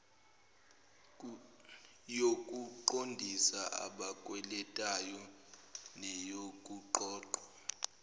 yokuqondisa abakweletayo neyokuqoqwa